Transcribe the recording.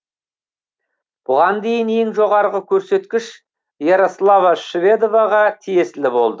бұған дейін ең жоғарғы көрсеткіш ярослава шведоваға тиесілі болды